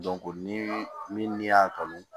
ni min y'a kanu